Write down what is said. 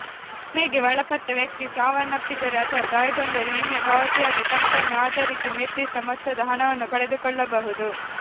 ವಿಮೆಗೆ ಒಳಪಟ್ಟ ವ್ಯಕ್ತಿ ಸಾವನ್ನಪ್ಪಿದರೆ ಅಥವಾ ಗಾಯಗೊಂಡರೆ ವಿಮೆ ಪಾವತಿಯಾದ ಕಂತನ್ನು ಆಧರಿಸಿ ನಿರ್ದಿಷ್ಟ ಮೊತ್ತದ ಹಣವನ್ನು ಪಡೆದುಕೊಳ್ಳಬಹುದು